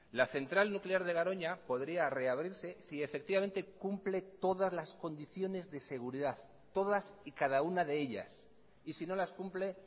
la central nuclear de garoña podría reabrirse si efectivamente cumple todas las condiciones de seguridad todas y cada una de ellas y si no las cumple